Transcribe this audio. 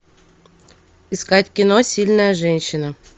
искать кино сильная женщина